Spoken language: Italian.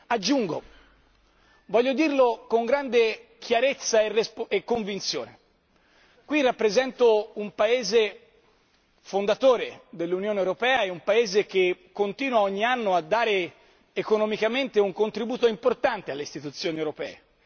Aggiungo e lo voglio dire con grande chiarezza e convinzione qui rappresento un Paese fondatore dell'Unione europea e un Paese che continua ogni anno a dare economicamente un contributo importante alle istituzioni europee.